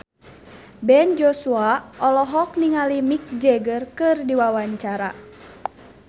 Ben Joshua olohok ningali Mick Jagger keur diwawancara